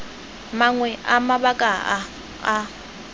mangwe a mabaka a a